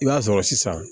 I b'a sɔrɔ sisan